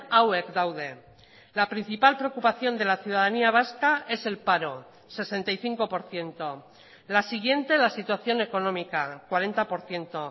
hauek daude la principal preocupación de la ciudadanía vasca es el paro sesenta y cinco por ciento la siguiente la situación económica cuarenta por ciento